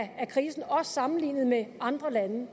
af krisen også sammenlignet med andre lande